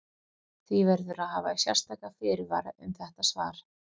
Því verður að hafa sérstaka fyrirvara um þetta svar.